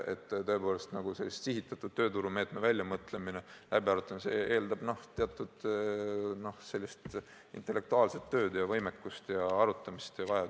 Tõepoolest, sihitatud tööturumeetme väljamõtlemine ja läbiarutamine eeldab teatud intellektuaalset tööd ja võimekust ning arutamissoovi.